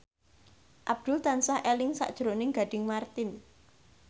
Abdul tansah eling sakjroning Gading Marten